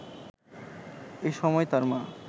এ সময় তার মা